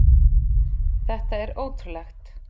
Þetta er ótrúlegt.